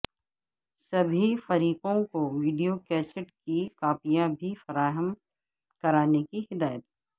سبھی فریقوںکو video cassette کی کاپیاں بھی فراہم کرانے کی ہدایت